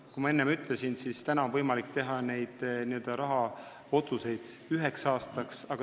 Nagu ma enne ütlesin, praegu on võimalik teha otsuseid üheks aastaks.